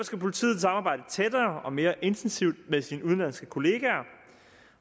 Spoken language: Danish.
skal politiet samarbejde tættere og mere intensivt med sine udenlandske kollegaer